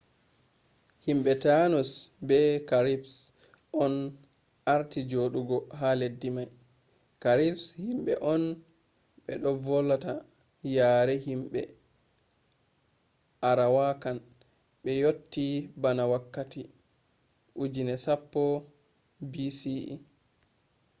himbe tainos be caribes on arti jodugo ha leddi mai. caribes himbe on beno volata yare himbe arawakan be yotti bana wakkati 10,000 bce